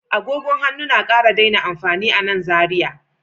Agogon hannu na ƙara daina amfani a nan Zariya